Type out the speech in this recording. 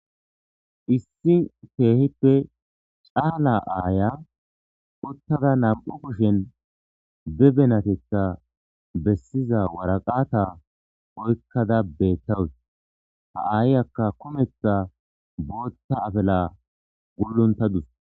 Irissi kehippe Cala Aya uttada Nanu kushen bebenatetha besiza waraqata oykada oykada betawus hayiyaka kuthan Botha afila guluntadus.